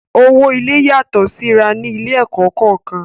Owó ilé-ìwé yàtọ̀ síra ní ilé-ẹ̀kọ́ kọ̀ọ̀kan.